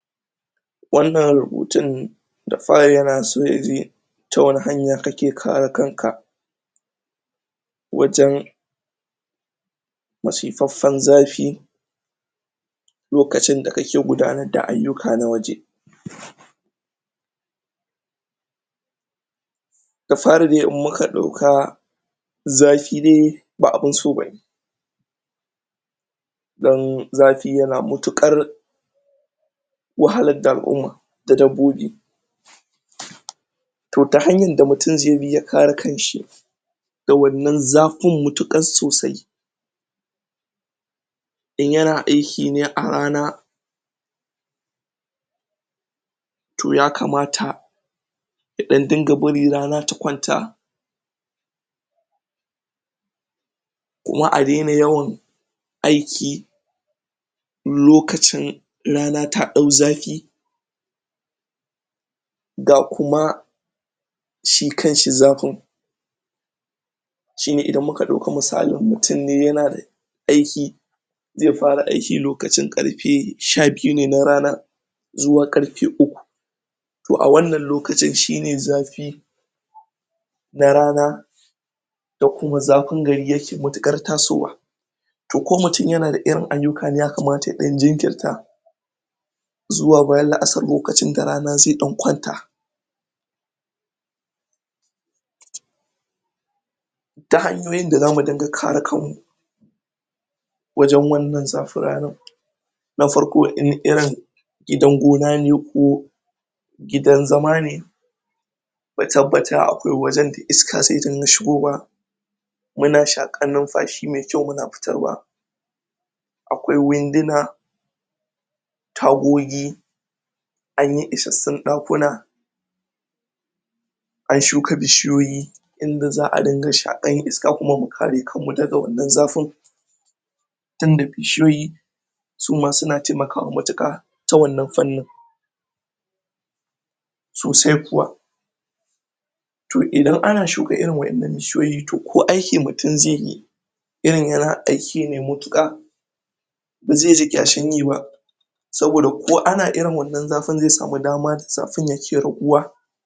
Wannan rubutun da fari yana so yaji ta wani hanya kake kare kan ka wajen masifaffan zafi lokacin da kake gudanar da ayyuka na waje, da fari dai in muka dauka zafi dai ba abin so bane, dan zafi yana matukar wahalar da alumma da dabbobi to ta hanyar da mutum zai bi ya kare kan shi wannan zafin matukar sosai in yana ayki ne a rana to ya kamata ya dan dinga bari rana ta kwanta, kuma a daina yawan aiki lokacin rana ta dau zafi ga kuma shi kan shi zafin shine idan kuka dauka misalin mutum ne yana aiki zai fara aiki lokacin karfe sha biyu ne na rana zuwa karfe uku, toh a wannan lokacin shine zafi na rana da kuma zafin gariyake matukar tasowa toh ko mutum yana da irin ayyuka ne ya kamata ya dan jinkirta zuwa bayan la'asar lokacin da rana ta kwanta, ta hanyoyin da zamu dinga kare kan mu wajen wannan zafin ranar na farko idan irin gona ne ko gidan zama ne mu tabbata akwai wajen da iska zaj dinga shigowa muna shakar numfashi mai kyau muna fitarwa, akwai winduna tagogi anyi isassun dakuna an shuka bishiyoyi yadda za'a dinga shakar iska kuma mu kare kan mu daga wannan zafin tunda bishiyoyi suma suna taimakawa matuka ta wannan fannin sosai kuwa toh idan ana shuka irin wadannan bishiyoyin to ko aiki mutum zai yi irin yana aiki ne matuka bazai ji kyashin yi ba saboda ko ana irin wannan zafin zai samu dama da zafin ke raguwa